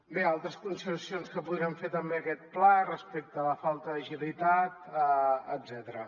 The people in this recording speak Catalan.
bé altres consideracions que podríem fer també a aquest pla respecte a la falta d’agilitat etcètera